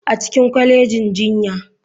A cikin kwalejin jinya.